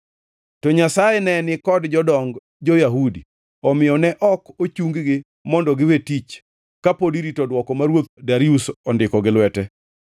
To Nyasaye ne ni kod jodong jo-Yahudi, omiyo ne ok ochung-gi mondo giwe tich ka pod irito dwoko ma ruoth Darius ondiko gi lwete.